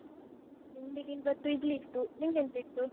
ತಿಂಡಿಗೆ ಇವತ್ತು ಇಡ್ಲಿ ಇತ್ತು. ನಿಂಗೆಂತ ಇತ್ತು?